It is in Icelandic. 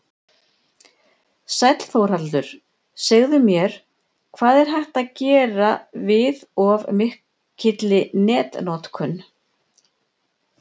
Sæll Þórhallur, segðu mér, hvað er hægt að gera við of mikilli netnotkun?